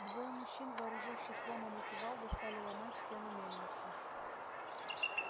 двое мужчин вооружившись ломом и кувалдой стали ломать стену мельницы